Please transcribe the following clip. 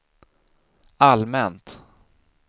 allmänt